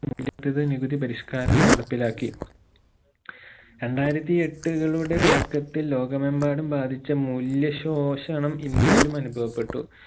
നികുതി പരിഷ്‌ക്കാരം നടപ്പിലാക്കി രണ്ടായിരത്തി എട്ടുകളുടെ തുടക്കത്തിൽ ലോകമെമ്പാടും ബാധിച്ച മൂല്യ ശോഷണം ഇന്ത്യയിലും അനുഭവപ്പെട്ടു